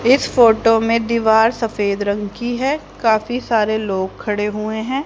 इस फोटो में दीवार सफेद रंग की है। काफी सारे लोग खड़े हुए है।